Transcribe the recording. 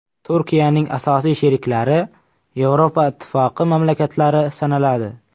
Turkiyaning asosiy sheriklari Yevropa ittifoqi mamlakatlari sanaladi.